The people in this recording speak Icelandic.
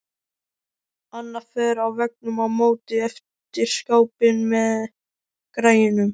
Annað far á veggnum á móti eftir skápinn með græjunum.